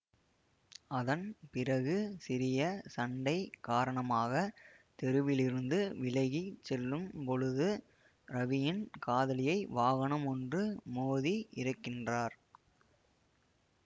அதன் பிறகு சிறிய சண்டை காரணமாக தெருவிலிருந்து விலகி செல்லும் பொழுது ரவியின் காதலியை வாகனமொன்று மோதி இறக்கின்றார்